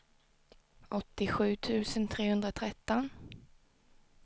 åttiosju tusen trehundratretton